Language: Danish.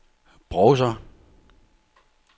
browser